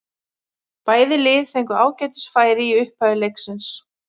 Bæði lið fengu ágætis færi í upphafi leiksins.